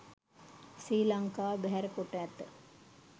ශ්‍රී ලංකාව බැහැර කොට ඇත